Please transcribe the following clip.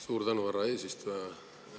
Suur tänu, härra eesistuja!